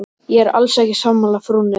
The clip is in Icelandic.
Ég er alls ekki sammála frúnni.